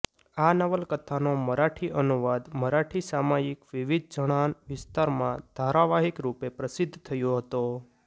આ નવલકથાનો મરાઠી અનુવાદ મરાઠી સામાયિક વિવિધ જણાંન વિસ્તારમાં ધારાવાહિક રૂપે પ્રસિદ્ધ થયો હતો